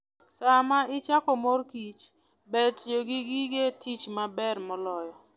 Sama ichoko mor kich ber tiyo gi gige tich mabeyo moloyo.